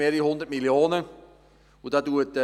Uns fehlen 22–27 mal 100 Mio. Franken.